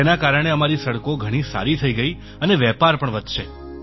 તેના કારણે અમારી સડકો ઘણી સારી થઈ ગઈ અને વેપાર પણ વધશે